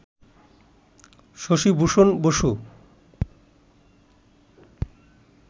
Shashibhushan Basu